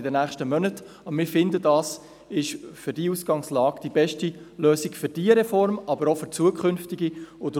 Wir finden aber, dies sei bei dieser Ausgangslage die beste Lösung für diese Reform, aber auch für zukünftige Reformen.